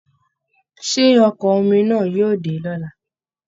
Ṣé Ọkọ̀ omi náà yóò dé lọla?